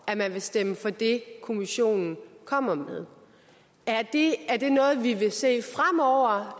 at man vil stemme for det kommissionen kommer med er det noget vi vil se fremover